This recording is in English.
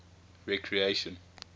recreation